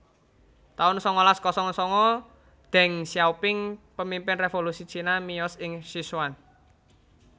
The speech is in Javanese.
taun sangalas kosong sanga Deng Xiaoping pamimpin révolusi Cina miyos ing Sichuan